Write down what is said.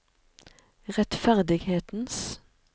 rettferdighetens